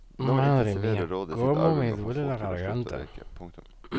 Nå intensiverer rådet sitt arbeid med å få folk til å slutte å røyke. punktum